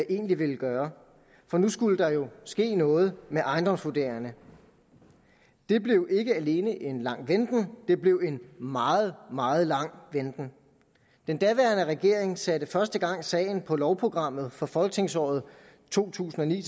egentlig ville gøre for nu skulle der jo ske noget med ejendomsvurderingerne der blev ikke alene en lang venten det blev en meget meget lang venten den daværende regering satte første gang sagen på lovprogrammet for folketingsåret to tusind og ni